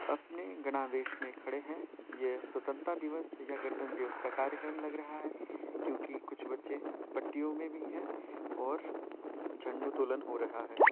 अपने गणवेश में खड़े हैं। यह स्वतंत्रता दिवस या गवंतन्त्र दिवस का कार्यक्रम लग रहा है क्योकि कुछ बच्चे पट्टियों मे भी है और झंडोत्तोलन हो रहा है।